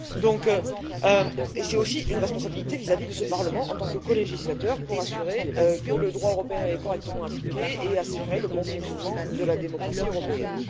C'est donc aussi une responsabilité vis-à-vis de ce Parlement, en tant que colégislateur, pour assurer que le droit européen est correctement appliqué et assurer le bon fonctionnement de la démocratie européenne.